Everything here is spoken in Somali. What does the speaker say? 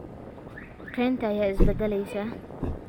Kaynta ayaa isbedelaysa.